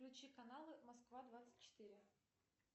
включи каналы москва двадцать четыре